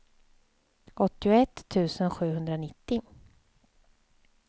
åttioett tusen sjuhundranittio